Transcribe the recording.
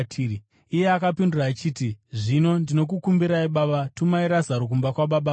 “Iye akapindura achiti, ‘Zvino ndinokukumbirai, baba, tumai Razaro kumba kwababa vangu,